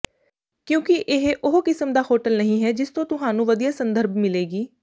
ਕਿਉਂਕਿ ਇਹ ਉਹ ਕਿਸਮ ਦਾ ਹੋਟਲ ਨਹੀਂ ਹੈ ਜਿਸ ਤੋਂ ਤੁਹਾਨੂੰ ਵਧੀਆ ਸੰਦਰਭ ਮਿਲੇਗੀ